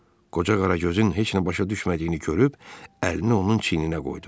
Qoca Qaragözün heç nə başa düşmədiyini görüb əlini onun çiyninə qoydu.